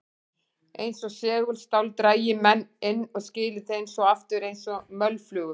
Eins og segulstál drægi menn inn og skili þeim svo aftur eins og mölflugum.